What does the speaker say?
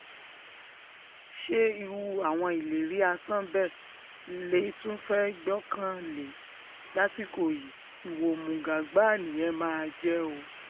ṣé irú àwọn ìlérí asán bẹ́ẹ̀ lè tún fẹ́ẹ́ gbọ́kànlé lásìkò yìí ìwà òmùgọ̀ gbáà nìyẹn máa jẹ́ o